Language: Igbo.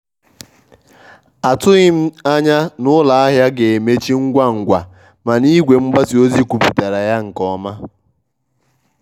atughị m anya na ụlọ ahịa ga-emechi ngwa ngwa mana igwe mgbasa ozi kwupụtara ya nke ọma.